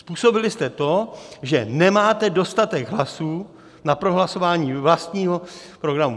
Způsobili jste to, že nemáte dostatek hlasů na prohlasování vlastního programu.